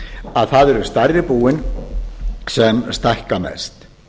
að það eru stærri búin sem stækka mest